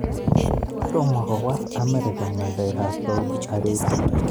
Tomokowol Amerika ngalek ab Saudi Arabia.